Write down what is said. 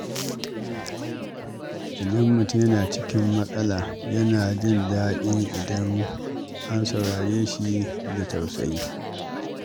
Idan mutum yana cikin matsala, yana jin daɗi idan an saurare shi da tausayi.